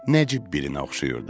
Nəcib birinə oxşayırdı.